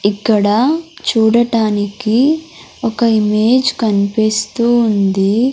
ఇక్కడ చూడటానికి ఒక ఇమేజ్ కనిపిస్తూ ఉంది.